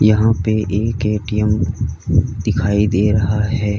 यहां पे एक ए_टी_एम दिखाई दे रहा है।